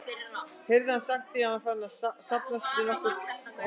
heyrði hann sagt, því það var farinn að safnast að nokkur hópur.